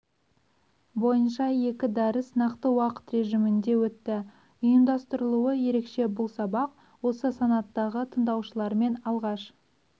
бойынша екі дәріс нақты уақыт режимінде өтті ұйымдастырылуы ерекше бұл сабақ осы санаттағы тыңдаушылармен алғаш